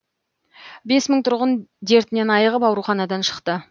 бес мың тұрғын дертінен айығып ауруханадан шықты